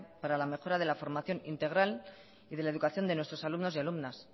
para la mejora de la formación integral y de la educación de nuestros alumnos y alumnas